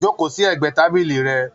Joko sí ẹgbẹ tábìlì rẹ!